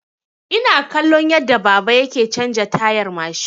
Ina kallon yadda baba yake canza tayar mashin.